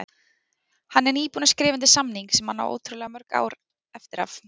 Hann er nýbúinn að skrifa undir samning sem hann á ótrúlega mörg ár eftir af